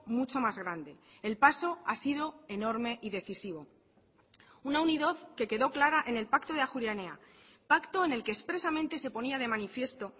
mucho más grande el paso ha sido enorme y decisivo una unidad que quedo clara en el pacto de ajuria enea pacto en el que expresamente se ponía de manifiesto